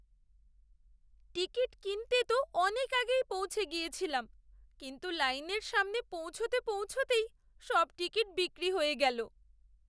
Ticket কিনতে তো অনেক আগেই পৌঁছে গিয়েছিলাম, কিন্তু লাইনের সামনে পৌঁছতে পৌঁছতেই সব টিকিট বিক্রি হয়ে গেল।